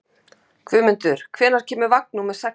Guðmundur, hvenær kemur vagn númer sextán?